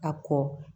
A kɔ